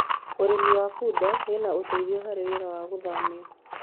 ũrĩithi wa bunda wina uteithio harĩ wira wa guthamia